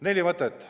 Neli mõtet.